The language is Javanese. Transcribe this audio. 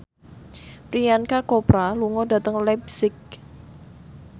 Priyanka Chopra lunga dhateng leipzig